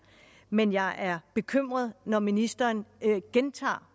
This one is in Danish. men jeg er bekymret når ministeren gentager